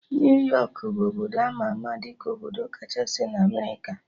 New York bụ obodo ama ama dị ka obodo kachasị na Amerịka